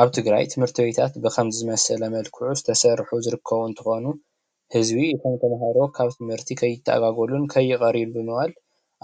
አብ ትግራይ ትምህርቲ ቤታት በኸምዚ መል ክዕ ዝተሰርሑ ዝርከቡ እንትኮኑ ህዝቢ ተምሃሮ ካብ ት/ቲ ከይተኣጋጎሉ ከይቀርዩ ብምባል